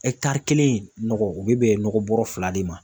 kelen nɔgɔ u bɛ bɛn nɔgɔ bɔrɔ fila de ma.